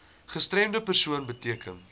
gestremde persoon beteken